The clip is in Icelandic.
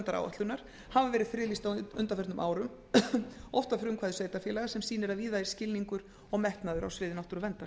náttúruverndaráætlunar hafa verið friðlýst á undanförnum árum oft að frumkvæði sveitarfélaga sem sýnir að víða er skilningur og metnaður á sviði náttúruverndar